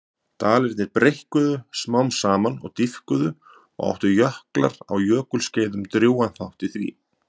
Dalirnir breikkuðu smám saman og dýpkuðu og áttu jöklar á jökulskeiðum drjúgan þátt í því.